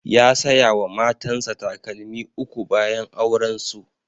Ya saya wa matan sa takalmi uku bayan auren su